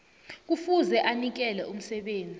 kufuze anikele umsebenzi